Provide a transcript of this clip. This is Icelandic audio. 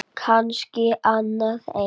Kannski annað eins.